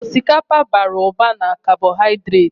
Osikapa bara ụba na kabohaidreti.